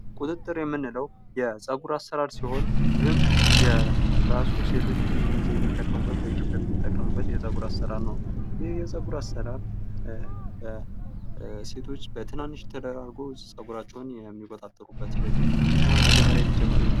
ቀንጥርጥር የምንለው የፀጉር አሰራር ሲሆን ይህም የራሱ ሴቶች ብዙ ጊዜ የሚጠቀሙበት በኢትዮጵያ የሚጠቀሙበት በኢትዮጵያ የሚጠቀሙበት የፀጉር አሰራር ነው። ይህ የፀጉር አሰራር ሴቶች በትናንሽ ተደራርጎ ፀጉራቸውን የሚቆጣጥሩበት ሂደት ነው። እናም መጀመርያ የተጀመረ የት ነው?